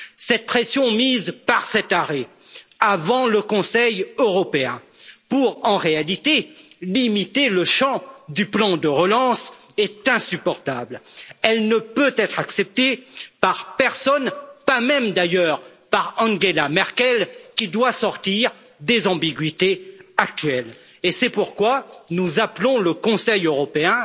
Cette pression mise par cet arrêt, avant le Conseil européen, pour en réalité limiter le champ du plan de relance, est insupportable. Elle ne peut être acceptée par personne pas même d'ailleurs par Angela Merkel qui doit sortir des ambiguïtés actuelles. Et c'est pourquoi nous appelons le Conseil européen